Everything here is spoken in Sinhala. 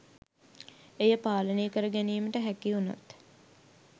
එය පාලනය කර ගැනීමට හැකි උනොත්